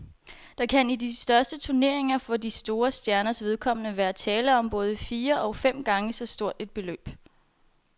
Der kan i de største turneringer for de største stjerners vedkommende være tale om både fire og fem gange så stort et beløb.